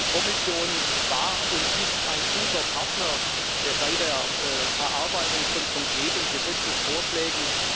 Die Kommission war und ist ein guter Partner bei der Erarbeitung von konkreten Gesetzesvorschlägen.